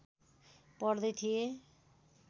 पढ्दै थिए